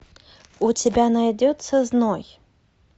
у тебя найдется зной